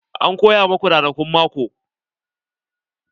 An koya maku ranakun mako?